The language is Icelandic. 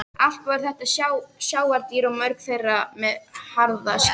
Allt voru þetta sjávardýr og mörg þeirra með harða skel.